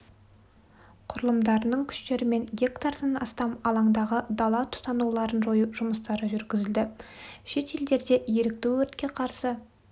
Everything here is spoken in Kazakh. құрылымдарының күштерімен гектардан астам алаңдағы дала тұтануларын жою жұмыстары жүргізілді шет елдерде ерікті өртке қарсы